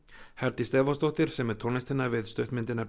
Herdís Stefánsdóttir semur tónlistina við stuttmyndina